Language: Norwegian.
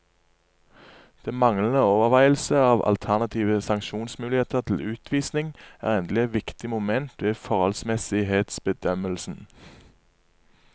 Den manglende overveielse av alternative sanksjonsmuligheter til utvisning er endelig et viktig moment ved forholdsmessighetsbedømmelsen.